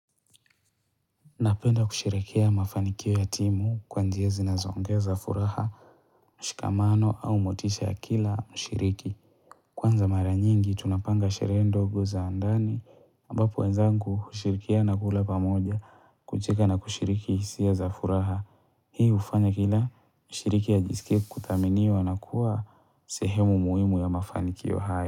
Napenda kusherehekea mafanikio ya timu kwa njia zinazoongeza furaha, mshikamano au motisha ya kila mshiriki. Kwanza mara nyingi tunapanga sherehe ndogo za ndani ambapo wenzangu hushirikiana kula pamoja kucheka na kushiriki hisia za furaha. Hii hufanya kila mshiriki ajisikie kuthaminiwa na kuwa sehemu muhimu ya mafanikio hayo.